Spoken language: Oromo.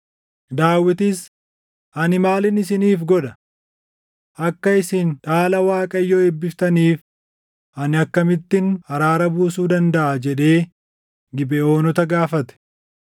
Daawitis, “Ani maalin isiniif godha? Akka isin dhaala Waaqayyoo eebbiftaniif ani akkamittin araara buusuu dandaʼa?” jedhee Gibeʼoonota gaafate.